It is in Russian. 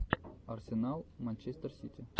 арсенал манчестер сити